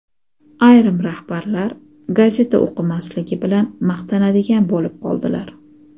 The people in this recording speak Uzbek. ayrim rahbarlar gazeta o‘qimasligi bilan maqtanadigan bo‘lib qoldilar.